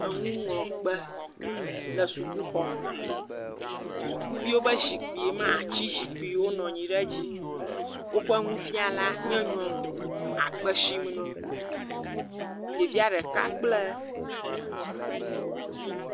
Enuŋlɔkpe le suku xɔ me. Sukuviwo ƒe zikpui ma, ati zikpui, wonɔ anyi ɖe edzi. Woƒe nufiala nye nyɔnu akpe sim na wo. Ɖevia ɖeka kpla